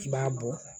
I b'a bɔ